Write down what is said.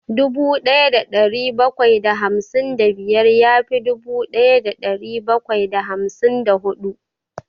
Dubu ɗaya da ɗari bakwai da hamsin da biyar ya fi dubu ɗaya da ɗari bakwai da hamsin da huɗu